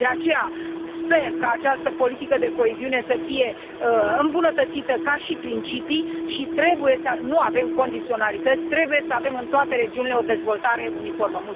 De aceea, sper ca această politică de coeziune să fie îmbunătățită ca și principii și trebuie să nu avem condiționalități, trebuie să avem în toate regiunile o dezvoltare uniformă.